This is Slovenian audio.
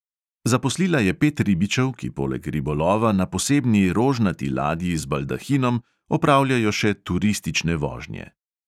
Zaposlila je pet ribičev, ki poleg ribolova na posebni rožnati ladji z baldahinom opravljajo še turistične vožnje.